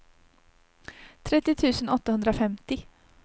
trettio tusen åttahundrafemtio